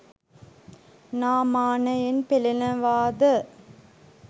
නමානයෙන් පෙලෙනවා ද?